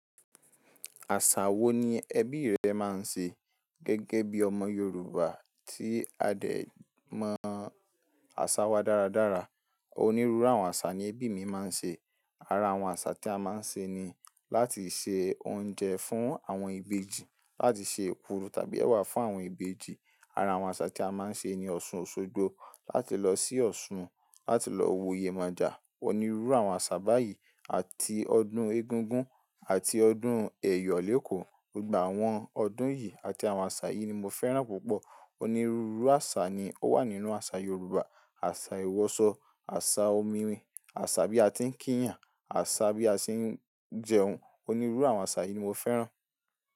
Àṣà wo ni ẹbí rẹ máa ń ṣe gẹ́gẹ́ bí ọmọ Yorùbá tí a dè mọ̀ àsà wa dára dára? Onírúurú àwọn àṣà ni ẹbí mi máa ń ṣe. Ara àwọn àṣà tí a máa ń ṣe ni láti se oúnjẹ fún àwọn ìbejì, láti ṣe èkuru tàbí ẹwà fún àwọn ìbejì. Ara àwọn àṣà tí a máa ń ṣe ni Ọ̀ṣun Òṣogbo, láti lọ sí Ọ̀ṣun, láti lọ wo Yemoja. Onírúurú àwọn àṣà báyìí àti ọdún Egúngún àti ọdún Èyọ̀ léko. Gba àwọn ọdún yìí àti àwọn àṣà yìí ni mo fẹ́ràn púpọ̀. Onírúurú àṣà ni ó wà nínú àṣà Yorùbá, àṣà ìwọsọ, àṣà omi rin, àṣà bí a ti ń kí ìyàn, àṣà bí a ṣe ń jẹun. Onírúurú àwọn àṣà yìí ni mo fẹ́ràn.